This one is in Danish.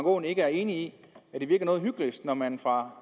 aaen ikke enig i at det virker noget hyklerisk når man fra